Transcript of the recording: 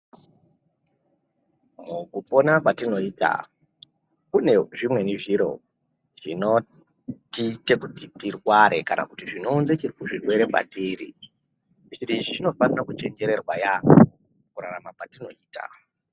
Mukupona kwatinoita kunezvimweni zviro zvinotiite kuti tirware kana kuti zvino unze zvirwere kwatiri zviro izvi zvinofanirwa kuchenjererwa yambo mukurarama kwatinoita.